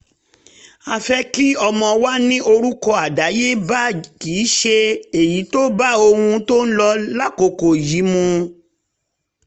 a fẹ́ kí ọmọ wa ní orúkọ àdáyébá kì í ṣe èyí tó bá ohun tó ń lọ lákòókò yìí mu